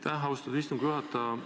Aitäh, austatud istungi juhataja!